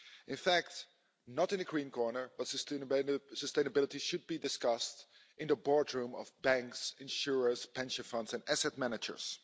In fact, not in a green corner, but sustainability should be discussed in the boardrooms of banks, insurers, pension funds and asset managers.